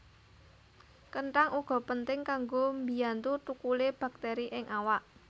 Kenthang uga penting kanggo mbiyantu thukule baktéri ing awak